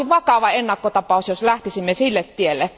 Tämä olisi vakava ennakkotapaus, jos lähtisimme sille tielle.